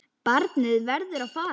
Barnið verður að fara.